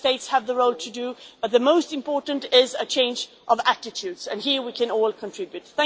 Member States have their role to play, but the most important is a change of attitude, and here we can all contribute.